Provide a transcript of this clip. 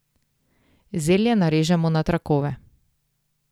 Zelje narežemo na trakove.